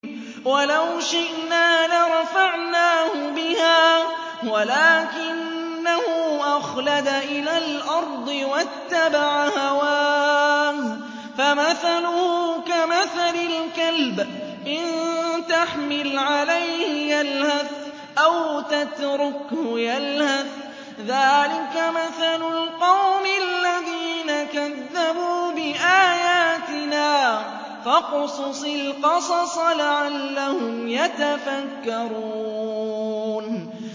وَلَوْ شِئْنَا لَرَفَعْنَاهُ بِهَا وَلَٰكِنَّهُ أَخْلَدَ إِلَى الْأَرْضِ وَاتَّبَعَ هَوَاهُ ۚ فَمَثَلُهُ كَمَثَلِ الْكَلْبِ إِن تَحْمِلْ عَلَيْهِ يَلْهَثْ أَوْ تَتْرُكْهُ يَلْهَث ۚ ذَّٰلِكَ مَثَلُ الْقَوْمِ الَّذِينَ كَذَّبُوا بِآيَاتِنَا ۚ فَاقْصُصِ الْقَصَصَ لَعَلَّهُمْ يَتَفَكَّرُونَ